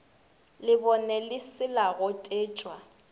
lebone le se la gotetšwa